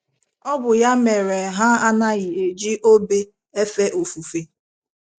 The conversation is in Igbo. Ọ bụ ya mere ha anaghị eji obe efe ofufe.